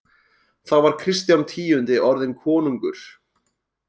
Þá var Kristján tíundi orðinn konungur.